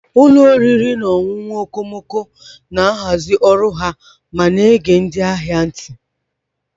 Ụlọ oriri na ọṅụṅụ okomoko na-ahazi ọrụ ha ma na-ege ndị ahịa ntị.